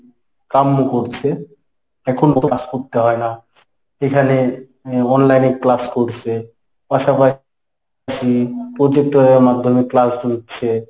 কাম্য করছে। এখন class করতে হয় না। এখানে এর online এ class করছে পাশাপাশি projector এর মাধ্যমে class নিচ্ছে।